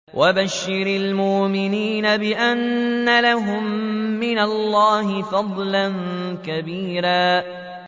وَبَشِّرِ الْمُؤْمِنِينَ بِأَنَّ لَهُم مِّنَ اللَّهِ فَضْلًا كَبِيرًا